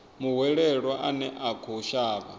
muhwelelwa ane a khou shavha